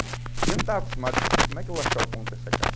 Eu não estava acostumado com isso, como é que eu vou achar o ponto dessa carne?